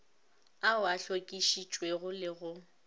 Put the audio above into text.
ao a hlokišitšwego le go